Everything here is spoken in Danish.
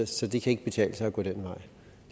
så det kan ikke betale sig at gå den vej